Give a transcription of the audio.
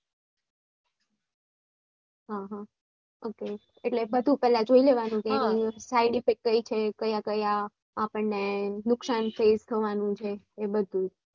હા હા ok એટલે બધું પેહલા જોઈ લેવાનું કે side effect કઈ છે કયા કયા આપણે નુકસાન fase થાવનું છે એ બધું